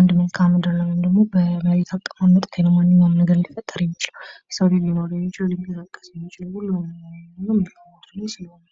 ነገር የሚገልጽ መልካም ምድር ደሞ የመሬት አቀማመጥ ነው